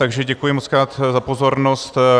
Takže děkuji mockrát za pozornost.